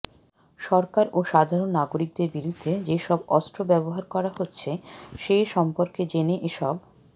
সরকার ও সাধারণ নাগরিকদের বিরুদ্ধে যেসব অস্ত্র ব্যবহার করা হচ্ছে সে সম্পর্কে জেনে এসব